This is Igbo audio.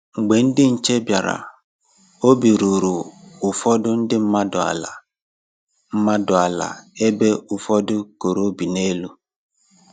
Mgbe ndị nche bịara, obi ruru ụfọdụ ndị mmadụ ala mmadụ ala ebe ụfọdụ koro obi n'elu